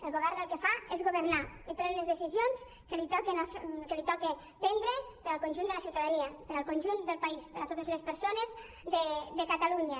el govern el que fa és governar i pren les decisions que li toca prendre per al conjunt de la ciutadania per al conjunt del país per a totes les persones de catalunya